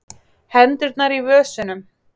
Hendurnar í vösunum.